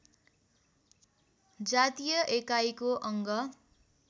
जातीय एकाईको अङ्ग